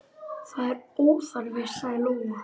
Það er óþarfi, sagði Lóa.